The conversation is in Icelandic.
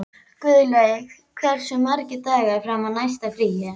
Guðlaug, hversu margir dagar fram að næsta fríi?